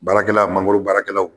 Baarakɛla mangoro baarakɛlaw